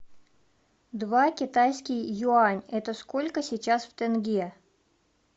два китайский юань это сколько сейчас в тенге